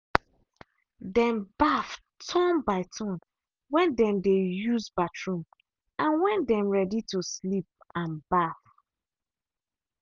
dem baff turn by turn when dem dey use bathroom and when them ready to sleep and baff.